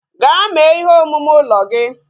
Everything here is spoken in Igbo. Gaa mee ihe omume ụlọ gị